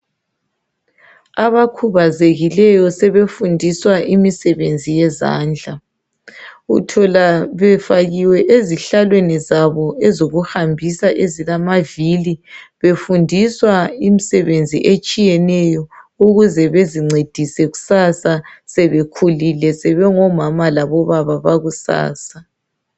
Abakhubazekileyo sebefundiswa imisebenzi yezandla uthola befakiwe ezihlalweni zabo ezokuhambisa ezilamavili befundiswa imsebenzi etshiyeneyo ukuze bezincedise kusasa sebekhulile sebengo mama labo baba bakusasa.